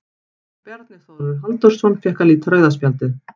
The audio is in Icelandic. Bjarni Þórður Halldórsson fékk að líta rauða spjaldið.